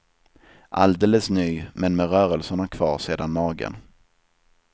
Alldeles ny, men med rörelserna kvar sedan magen.